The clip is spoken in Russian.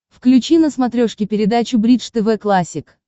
включи на смотрешке передачу бридж тв классик